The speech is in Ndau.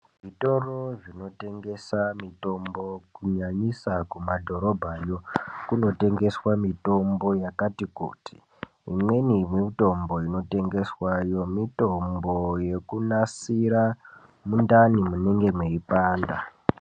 Zvitoro zvinotengesa mitombo kunyanyisa kumadhorobhayo kunotengeswa mitombo yakati kuti imweni mutombo inotongeswa yekunasira mundani munenge mweipanda